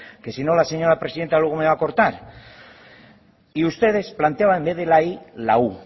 que sino la señora presidenta luego me va a cortar y ustedes planteaban en vez de la y la u